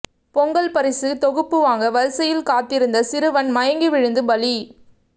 பொங்கல் பரிசு தொகுப்பு வாங்க வரிசையில் காத்திருந்த சிறுவன் மயங்கி விழுந்து பலி